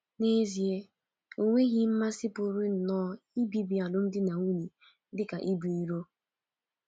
N’ezie, enweghị mmasị pụrụ nnọọ ibibi alụmdi na nwunye dị ka ibu iro.